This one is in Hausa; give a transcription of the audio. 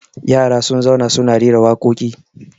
yara sun zauna suna rera waƙoƙi